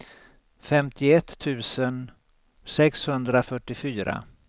femtioett tusen sexhundrafyrtiofyra